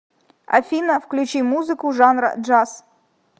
афина включи музыку жанра джаз